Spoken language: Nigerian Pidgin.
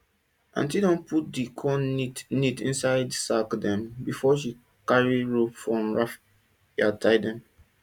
aunti don put di corn neat neat inside sack dem before she carry rope from raffia tie dem